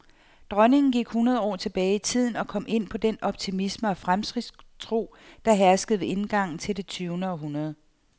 Dronningen gik hundrede år tilbage i tiden og kom ind på den optimisme og fremskridtstro, der herskede ved indgangen til det tyvende århundrede.